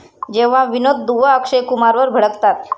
जेव्हा विनोद दुआ अक्षय कुमारवर भडकतात